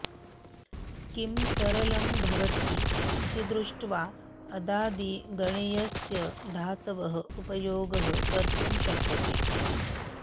किं सरलं भवति इति दृष्ट्वा अदादिगणीयस्य धातवः उपयोगः कर्तुं शक्यते